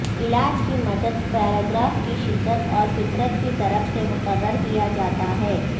علاج کی مدت پیراگراف کی شدت اور فطرت کی طرف سے مقرر کیا جاتا ہے